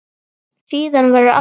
Síðan verður allt hljótt.